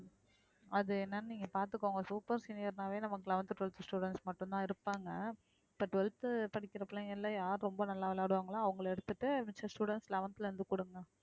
அது என்னன்னு நீங்க பாத்துக்கோங்க super senior னாவே நமக்கு eleventh twelfth students மட்டும்தான் இருப்பாங்க இப்ப twelfth படிக்கிற பிள்ளைங்க எல்லாம் யாரு ரொம்ப நல்லா விளையாடுவாங்களோ அவங்களை எடுத்துட்டு மிஞ்ச students eleventh ல இருந்து